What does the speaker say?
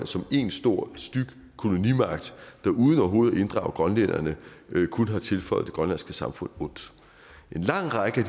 som en stor styg kolonimagt der uden overhovedet at inddrage grønlænderne kun har tilføjet det grønlandske samfund ondt en lang række af